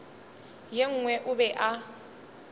ye nngwe o be a